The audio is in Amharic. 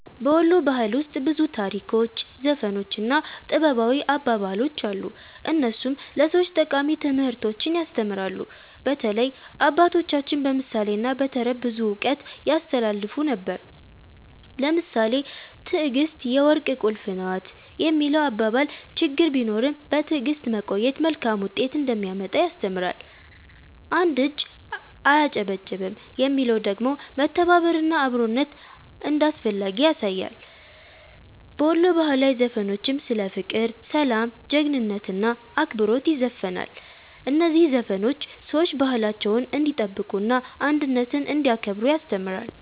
በ ወሎ ባህል ውስጥ ብዙ ታሪኮች፣ ዘፈኖች እና ጥበባዊ አባባሎች አሉ፣ እነሱም ለሰዎች ጠቃሚ ትምህርቶችን ያስተምራሉ። በተለይ አባቶቻችን በምሳሌ እና በተረት ብዙ እውቀት ያስተላልፉ ነበር። ለምሳሌ “ትዕግስት የወርቅ ቁልፍ ናት” የሚለው አባባል ችግር ቢኖርም በትዕግስት መቆየት መልካም ውጤት እንደሚያመጣ ያስተምራል። “አንድ እጅ አያጨበጭብም” የሚለው ደግሞ መተባበር እና አብሮነት እንዳስፈላጊ ያሳያል። በወሎ ባህላዊ ዘፈኖችም ስለ ፍቅር፣ ሰላም፣ ጀግንነት እና አክብሮት ይዘፈናል። እነዚህ ዘፈኖች ሰዎች ባህላቸውን እንዲጠብቁ እና አንድነትን እንዲያከብሩ ያስተምራሉ።